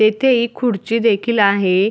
येथे एक खुडची देखील आहे.